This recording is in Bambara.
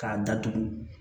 K'a datugu